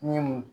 Ni mun